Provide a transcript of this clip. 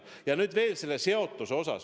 Ja nüüd veel sellest seotusest.